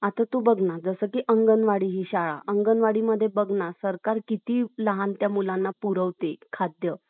आत तू बघ ना जसकाही अंगणवाडी हि शाळा , अंगणवाडी मध्ये बघ ना सरकार किती लहान त्या मुलांना पुरवते खाद्य